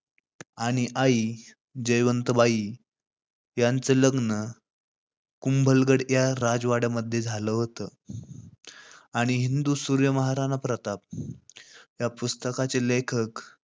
आणि आई जयवंताबाई यांचं लग्न कुंभलगड या राजवाड्या मध्ये झालं होतं. आणि हिंदू सूर्य महाराणा प्रताप या पुस्तकाचे लेखक